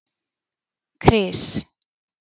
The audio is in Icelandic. Kris